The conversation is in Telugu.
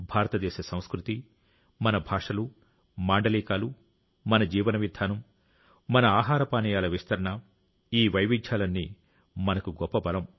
భారతదేశ సంస్కృతి మన భాషలు మాండలికాలు మన జీవన విధానం మన ఆహార పానీయాల విస్తరణ ఈ వైవిధ్యాలన్నీ మనకు గొప్ప బలం